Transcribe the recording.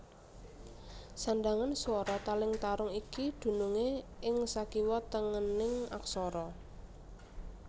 Sandhangan swara taling tarung iki dunungé ing sakiwa tengening aksara